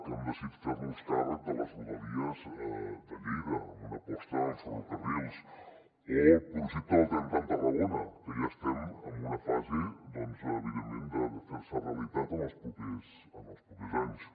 hem decidit fer nos càrrec de les rodalies de lleida amb una aposta amb ferrocarrils o el projecte del tren tram tarragona que ja estem en una fase doncs evidentment de fer se realitat en els propers anys